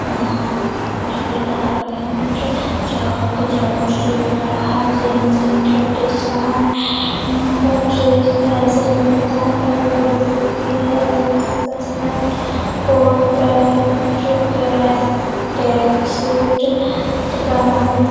यहाँ पर यहाँ पे ड्रेस फैंसी मिलता है जैसे की jeans shirt coat pant tracksuit gown |